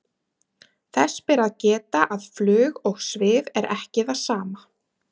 þess ber að geta að flug og svif er ekki það sama